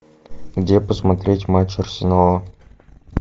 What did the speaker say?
где посмотреть матч арсенала